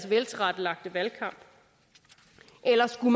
veltilrettelagte valgkamp eller skal